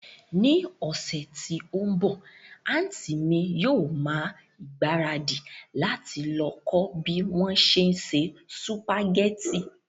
Ní ọ̀sẹ̀ tí ó ń bọ̀, àntí mi yóò ma ìgbáradì láti lọ kọ́ bí wón se ń se sùpàgẹ́tì